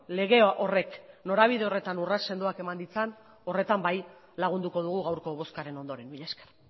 lege horrek norabide horretan urrats sendoak eman ditzan horretan bai lagunduko dugu gaurko bozkaren ondoren mila esker